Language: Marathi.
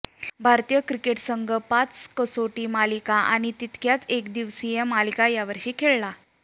भारतीय क्रिकेट संघ पाच कसोटी मालिका आणि तितक्याच एकदिवसीय मलिका यावर्षी खेळला